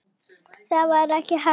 Það var ekki hægt.